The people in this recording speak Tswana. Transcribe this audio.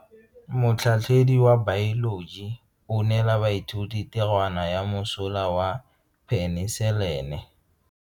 Motlhatlhaledi wa baeloji o neela baithuti tirwana ya mosola wa peniselene.